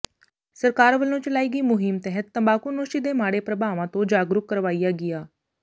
ਸਰਕਾਰ ਵਲੋਂ ਚਲਾਈ ਗਈ ਮੁਹਿੰਮ ਤਹਿਤ ਤੰਬਾਕੂਨੋਸ਼ੀ ਦੇ ਮਾੜੇ ਪ੍ਰਭਾਵਾਂ ਤੋਂ ਜਾਗਰੂਕ ਕਰਵਾਇਆ ਗਿਆ